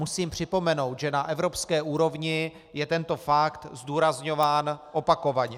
Musím připomenout, že na evropské úrovni je tento fakt zdůrazňován opakovaně.